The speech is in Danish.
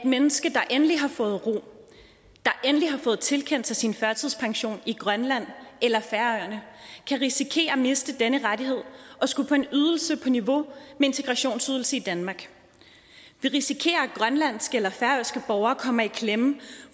menneske der endelig har fået ro der endelig har fået tilkendt sin førtidspension i grønland eller færøerne kan risikere at miste denne rettighed og skulle på en ydelse på niveau med integrationsydelse i danmark vi risikerer at grønlandske eller færøske borgere kommer i klemme